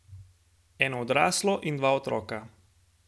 Eno odraslo in dva otroka.